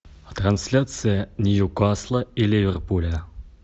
трансляция ньюкасла и ливерпуля